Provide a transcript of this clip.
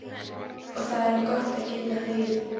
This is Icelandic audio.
Og það er gott að geta hlegið.